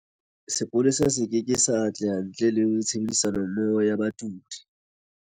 Sepolesa se keke sa atleha ntle le tshebedisanommoho ya badudi.